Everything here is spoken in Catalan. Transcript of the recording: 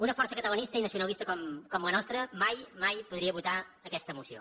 una força catalanista i nacionalista com la nostra mai mai podria votar aquesta moció